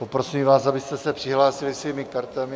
Poprosím vás, abyste se přihlásili svými kartami.